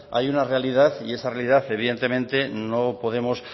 hay una realidad y esa realidad evidentemente no podemos